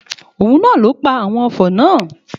Òun na ló pa àwon ofò náà.